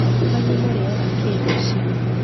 Kwanyu mũrĩaga kĩĩ rũcinĩ?